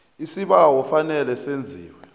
isibawo kufanele senziwe